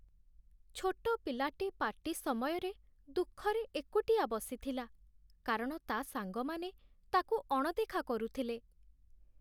ଛୋଟ ପିଲାଟି ପାର୍ଟି ସମୟରେ ଦୁଃଖରେ ଏକୁଟିଆ ବସିଥିଲା କାରଣ ତା' ସାଙ୍ଗମାନେ ତାକୁ ଅଣଦେଖା କରୁଥିଲେ।